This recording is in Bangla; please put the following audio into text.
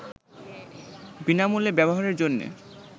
বিনামূল্যে ব্যবহারের জন্যে